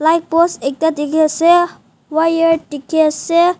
light post ekta dikhaease wire dikhae se.